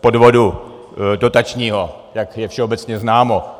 podvodu dotačního, jak je všeobecně známo.